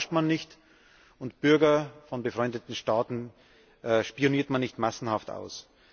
Freunde belauscht man nicht, und Bürger von befreundeten Staaten spioniert man nicht massenhaft aus.